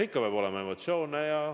Ikka peab olema emotsioone.